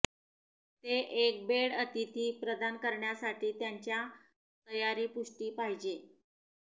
ते एक बेड अतिथी प्रदान करण्यासाठी त्याच्या तयारी पुष्टी पाहिजे